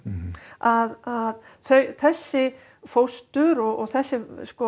að þessi fóstur og þessi